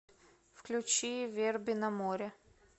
включи верби на море